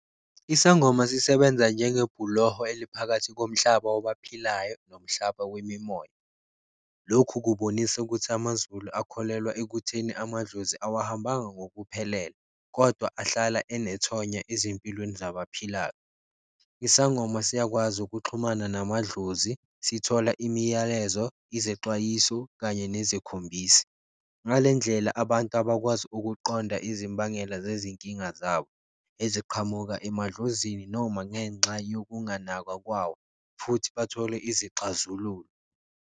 Isangoma sisebenza njengebhuloho eliphakathi komhlaba wabaphilayo nomhlaba wemimoya. Lokhu kubonisa ukuthi amaZulu akholelwa ekutheni amadlozi awahambanga ngokuphelele, kodwa ahlala enethonya ezimpilweni zabaphilayo. Isangoma siyakwazi ukuxhumana namadlozi, sithola imiyalezo, izexwayiso, kanye nezikhombisi. Ngale ndlela, abantu abakwazi ukuqonda izimbangela zezinkinga zabo eziqhamuka emadlozini noma ngenxa yokunganakwa kwawo, futhi bathole izixazululo.